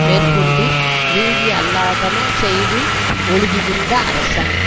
மேற்கொண்டு நீதியல்லாதன செய்து ஒழுகுகின்ற அரசன்